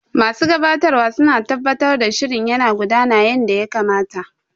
Masu gabatarwa suna tabbatar da shirin yana gudana yanda ya kamata.